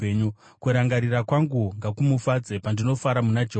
Kurangarira kwangu ngakumufadze, pandinofara muna Jehovha.